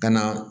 Ka na